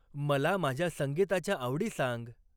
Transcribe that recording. मला माझ्या संगीताच्या आवडी सांग